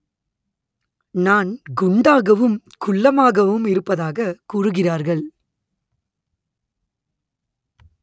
நான் குண்டாகவும் குள்ளமாகவும் இருப்பதாகக் கூறுகிறார்கள்